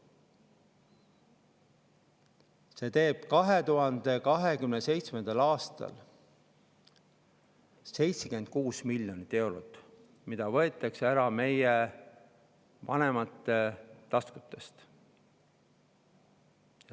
See teeb 2027. aastal 76 miljonit eurot, mis võetakse ära meie vanemate taskust.